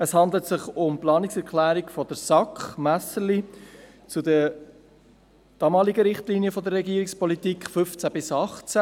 Es handelt sich um die Planungserklärung der SAK, Messerli, zu Ziel 4 der damaligen Richtlinien der Regierungspolitik 2015–2018: